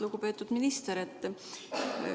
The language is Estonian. Lugupeetud minister!